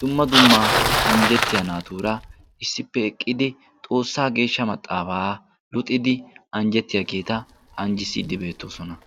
dumma dummaa anjjettiya naatuura issippe eqqidi xoossaa geeshsha maxaafaa luxidi anjjettiyaa geeta anjjissiiddi beettoosona.